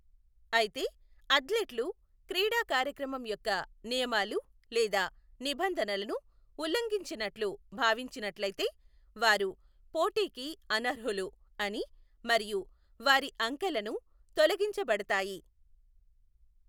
అయితే, అథ్లెట్లు క్రీడా కార్యకమం యొక్క నియమాలు లేదా నిబంధనలను ఉల్లంఘించినట్లు భావించినట్లయితే, వారు పోటీకి అనర్హులు అని మరియు వారి అంకెలను తొలగించబడతాయి.